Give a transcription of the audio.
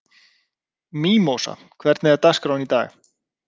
Mímósa, hvernig er dagskráin í dag?